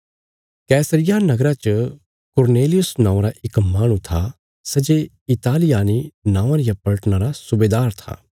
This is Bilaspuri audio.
कैसरिया नगरा च कुरनेलियुस नौआं रा इक माहणु था सै जे इतालियानी नौआं रिया पलटना रा सुबेदार था